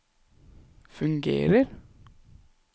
fungerer